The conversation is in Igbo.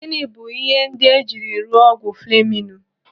Gịnị bụ ihe ndị ejiri rụọ ọgwụ fleminu?